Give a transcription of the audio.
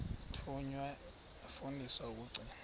thunywa yafundiswa ukugcina